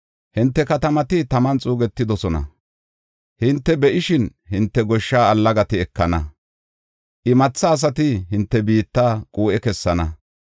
“Hinte biittay oxis; hinte katamati taman xuugetidosona. Hinte be7ishin hinte goshsha allagati ekana; imatha asati hinte biitta quu7e kessana.